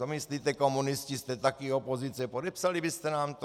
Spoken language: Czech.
Co myslíte, komunisti, jste také opozice, podepsali byste nám to?